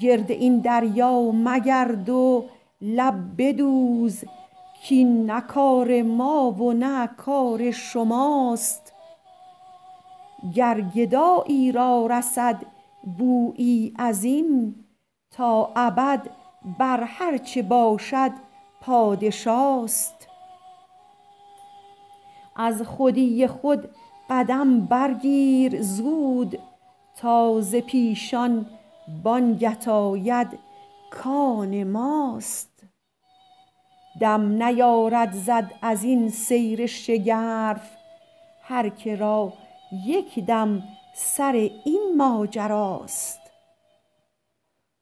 گرد این دریا مگرد و لب بدوز کین نه کار ما و نه کار شماست گر گدایی را رسد بویی ازین تا ابد بر هرچه باشد پادشاست از خودی خود قدم برگیر زود تا ز پیشان بانگت آید کان ماست دم نیارد زد ازین سیر شگرف هر که را یک دم سر این ماجراست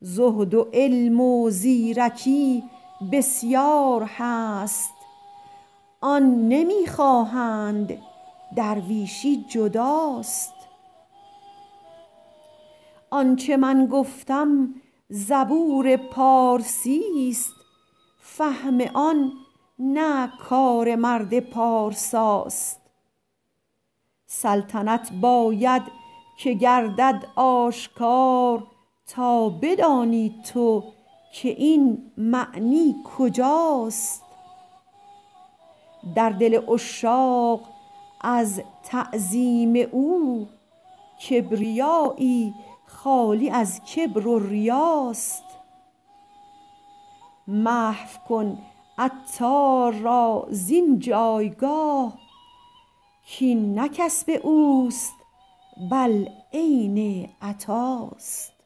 زهد و علم و زیرکی بسیار هست آن نمی خواهند درویشی جداست آنچه من گفتم زبور پارسی است فهم آن نه کار مرد پارساست سلطنت باید که گردد آشکار تا بدانی تو که این معنی کجاست در دل عشاق از تعظیم او کبریایی خالی از کبر و ریاست محو کن عطار را زین جایگاه کین نه کسب اوست بل عین عطاست